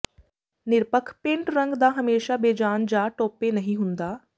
ਨਿਰਪੱਖ ਪੇਂਟ ਰੰਗ ਦਾ ਹਮੇਸ਼ਾ ਬੇਜਾਨ ਜਾਂ ਟੌਪੇ ਨਹੀਂ ਹੁੰਦਾ